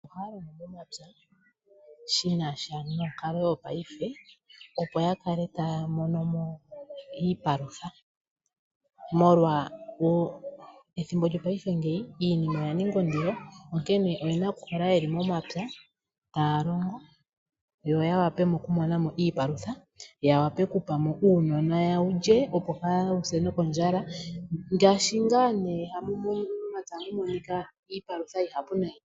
Aantu ohaya longo momapya shinasha nonkalo yongashingeyi, opo yakale taya mono mo iipalutha molwa wo ethimbo lyongashingeyi iinima oyaninga ondilo. Onkene oyena okukala yeli momapya taya longo, yo yawape okumona mo iipalutha yawape okupa mo uunona wulye, opo kaawu se nokondjala ngaashi ngaa nee momapya ohamu monika iipalutha oyindji nayi.